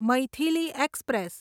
Maithili express